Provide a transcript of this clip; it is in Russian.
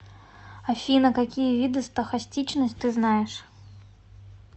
афина какие виды стохастичность ты знаешь